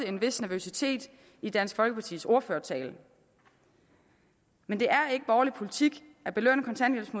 en vis nervøsitet i dansk folkepartis ordførertale men det er ikke borgerlig politik